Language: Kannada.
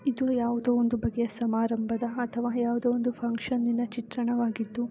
ಇದು ಯಾವುದು ಒಂದು ಬಗ್ಗೆ ಸಮಾರಂಭದ ಅತಃವಾ ಫುಕ್ಷನ್ ಚಿತ್ರಣವಾಗಿದ್ದು .